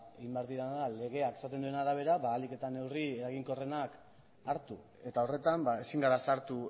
egin behar dena da legeak esaten duen arabera ba ahalik eta neurri eraginkorrena hartu eta horretan ezin gera sartu